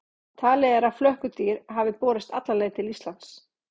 Talið er að flökkudýr hafi borist alla leið til Íslands.